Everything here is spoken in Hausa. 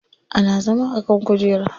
Ana zama a kan kujera.